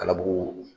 Kalabugu